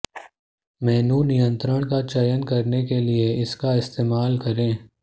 मेनू नियंत्रण का चयन करने के लिए इसका इस्तेमाल करें